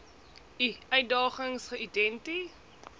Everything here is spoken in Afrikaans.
i uitdagings geïdenti